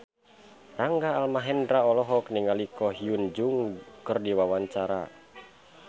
Rangga Almahendra olohok ningali Ko Hyun Jung keur diwawancara